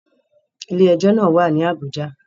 Ilé ẹjọ́ náà wà ní Àbújá